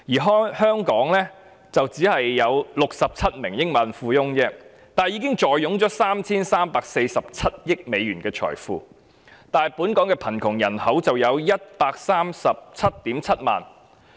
香港只有67名億萬富翁，卻已坐擁 3,347 億美元的財富；可是本港的貧窮人口卻有 1,377 000萬人。